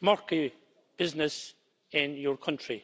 murky business in your country.